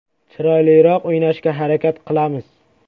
Chiroyliroq o‘ynashga harakat qilamiz.